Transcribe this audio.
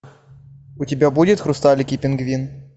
у тебя будет хрусталик и пингвин